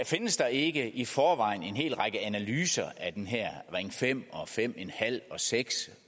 findes der ikke i forvejen en hel række analyser af den her ring fem og fem en halv og seks